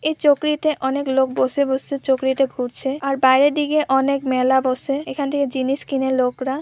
এই চকরিতে অনেক লোক বসে বসে চকরিতে ঘুরছে আর বাইরে দিকে অনেক মেলা বসে এখান থেকে জিনিস কিনে লোকরা।